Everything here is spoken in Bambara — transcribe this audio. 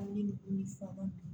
Ni fɔ la